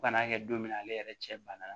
Fo kana a kɛ don min na ale yɛrɛ cɛ bana